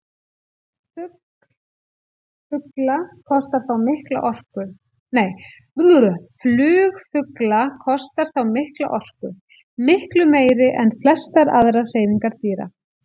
Flug fugla kostar þá mikla orku, miklu meiri en flestar aðrar hreyfingar dýra.